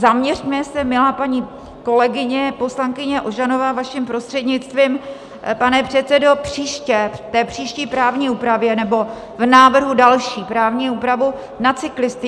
Zaměřme se, milá paní kolegyně, poslankyně Ožanová, vaším prostřednictvím, pane předsedo, příště, v té příští právní úpravě nebo v návrhu další právní úpravy, na cyklisty.